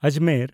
Ajmer